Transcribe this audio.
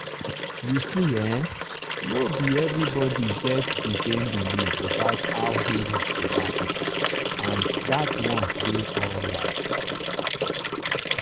you see[um]no be everybody get the same belief about how healing dey happen—and that one dey alright.